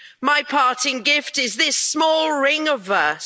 My parting gift is this small ring of verse.